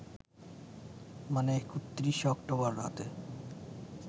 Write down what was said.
মানে ৩১ অক্টোবর রাতে